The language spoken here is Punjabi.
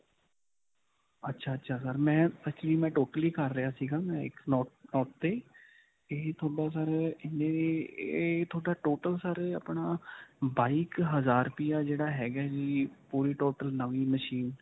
ਅੱਛਾ, ਅੱਛਾ sir ਮੈਂ actually ਮੈਂ total ਹੀ ਕਰ ਰਿਹਾ ਸੀਗਾ. ਮੈਂ ਇਹ ਤੁਹਾਡਾ sir ਅਅ ਇਹ ਇਹ ਤੁਹਾਡਾ total sir ਆਪਣਾ ਬਾਈਕ ਕ ਹਜਾਰ ਰੁਪਿਆ ਜਿਹੜਾ ਹੈਗਾ ਹੈ ਜੀ ਪੂਰਾ total ਨਵੀਂ ਮਸ਼ੀਨ.